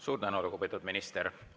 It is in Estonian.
Suur tänu, lugupeetud minister!